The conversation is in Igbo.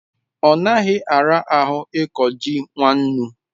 onaghi arahu iko ji nwannu